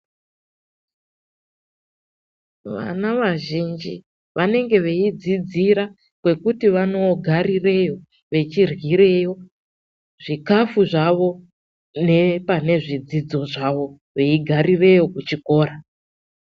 Vana vazhinji vanenge veyidzira kwekuti vanoogarireyo veiryireyo zvikafu zvavo nepane zvidzidzo zvavo veigarireyo kuchikora.